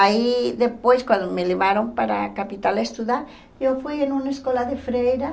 Aí depois, quando me levaram para a capital estudar, eu fui em uma escola de freira.